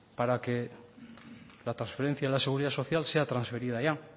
para que la transferencia de la seguridad social sea transferida ya